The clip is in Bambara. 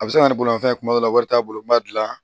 A bɛ se ka na bolomafɛn kuma dɔw la wari t'a bolo n b'a dilan